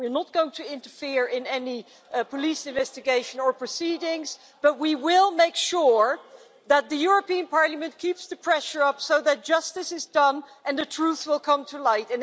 We are not going to interfere in any police investigation or proceedings, but we will make sure that the European Parliament keeps the pressure up so that justice is done and the truth will come to light.